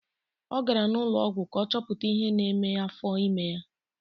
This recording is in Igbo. Ọ gara n'ụlọọgwụ ka ọ chọpụta ihe na-eme afọ ime ya.